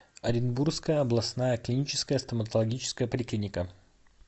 оренбургская областная клиническая стоматологическая поликлиника